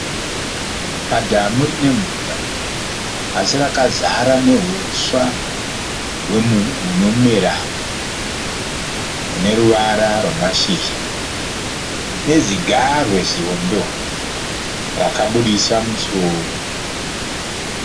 Padhamu rine mvura asi rakazara neuswa hunomera huneruvara ramashizha nezigarwe zihombe rakaburitsa musoro